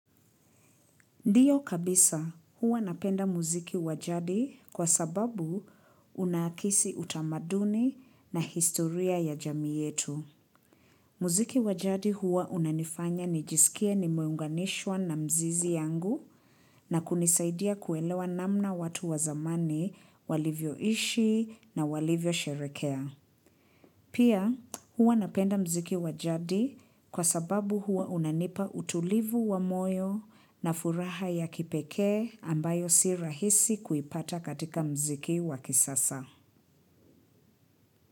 Ndio kabisa huwa napenda muziki wa jadi kwa sababu unahisi utamaduni na historia ya jamii yetu. Muziki wa jadi huwa unanifanya nijisikie nimeunganishwa na mizizi yangu na kunisaidia kuelewa namna watu wa zamani walivyoishi na walivyosherehekea. Pia huwa napenda muziki wa jadi kwa sababu huwa unanipa utulivu wa moyo na furaha ya kipekee ambayo si rahisi kuipata katika muziki wa kisasa.